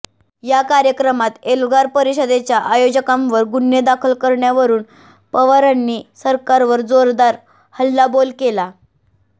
या कार्यक्रमात एल्गार परिषदेच्या आयोजकांवर गुन्हे दाखल करण्यावरून पवारांनी सरकारवर जोरदार हल्लाबोल केला